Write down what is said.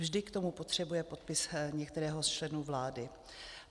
Vždy k tomu potřebuje podpis některého z členů vlády.